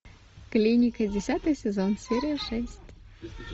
клиника десятый сезон серия шесть